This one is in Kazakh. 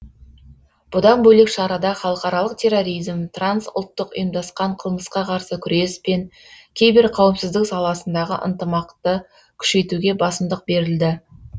бұдан бөлек шарада халықаралық терроризм трансұлттық ұйымдасқан қылмысқа қарсы күрес пен киберқауіпсіздік саласындағы ынтымақты күшейтуге басымдық берілді